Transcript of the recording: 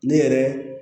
Ne yɛrɛ